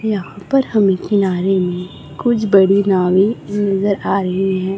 यहां पर हमें किनारे में कुछ बड़ी नावे नजर आ रही है।